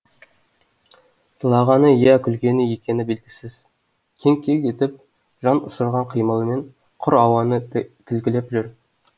жылағаны иә күлгені екені белгісіз кеңк кеңк етіп жан ұшырған қимылмен құр ауаны тілгілеп жүр